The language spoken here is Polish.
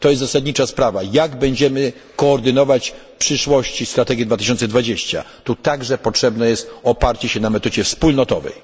Jest to sprawa zasadnicza w jaki sposób będziemy koordynować w przyszłości strategię 2020 tu także potrzebne jest oparcie się na metodzie wspólnotowej.